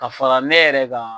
Ka fara ne yɛrɛ kan.